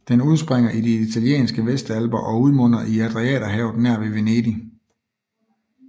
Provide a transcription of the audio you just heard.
Den udspringer i de italienske Vestalper og udmunder i Adriaterhavet nær ved Venedig